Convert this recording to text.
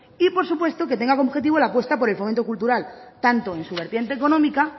y por supuesto que tenga como objetivo la apuesta por el fomento cultural tanto en su vertiente económica